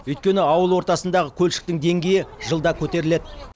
өйткені ауыл ортасындағы көлшіктің деңгейі жылда көтеріледі